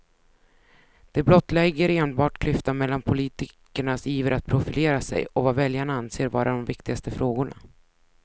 Det blottlägger enbart klyftan mellan politikernas iver att profilera sig och vad väljarna anser vara de viktigaste frågorna.